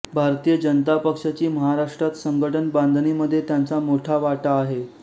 भारतीय जनता पक्षाची महाराष्ट्रात संघटन बांधणीमध्ये त्यांचा मोठा वाटा आहे